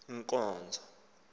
inkonzo